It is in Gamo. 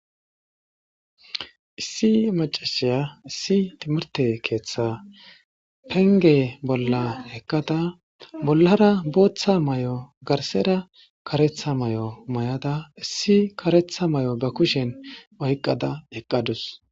issi macashiya issi timirte keeththa penge bolla heqqada bollara booththa may7o garsera karetha may7o may7ada issi karetha may7o ga kushen wayqqada heqqadus